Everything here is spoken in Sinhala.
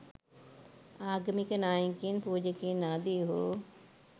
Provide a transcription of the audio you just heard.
ආගමික නායකයින් පූජකයින් ආදීහු